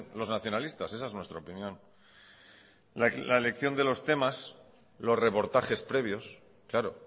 los nacionalistas esa es nuestra opinión la elección de los temas los reportajes previos claro